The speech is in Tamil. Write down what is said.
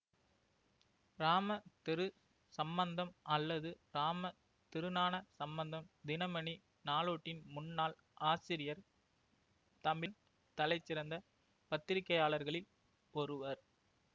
இராம திரு சம்பந்தம் அல்லது இராம திருஞானசம்பந்தம் தினமணி நாளேட்டின் முன்னாள் ஆசிரியர் தமிழ் தலைசிறந்த பத்திரிகையாளர்களில் ஒருவர்